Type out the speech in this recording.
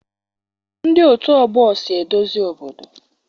Ndị otù ọgbọ so edozi obodo